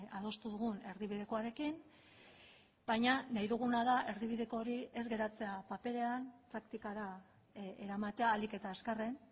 adostu dugun erdibidekoarekin baina nahi duguna da erdibideko hori ez geratzea paperean praktikara eramatea ahalik eta azkarren